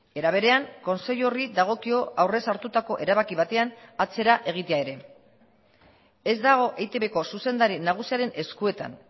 era berean kontseilu horri dagokio aurrez hartutako erabaki batean atzera egitea ere ez dago eitbko zuzendari nagusiaren eskuetan